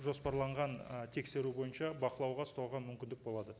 жоспарланған ы тексеру бойынша бақылауға ұстауға мүмкіндік болады